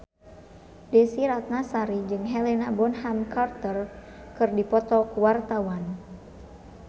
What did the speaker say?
Desy Ratnasari jeung Helena Bonham Carter keur dipoto ku wartawan